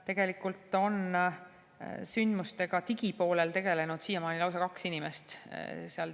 Tegelikult on siiamaani sündmustega digipoolel tegelenud lausa kaks inimest.